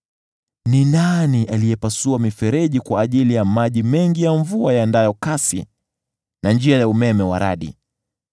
Ni nani aliyepasua mifereji kwa ajili ya maji mengi ya mvua yaendayo kasi na njia ya umeme wa radi,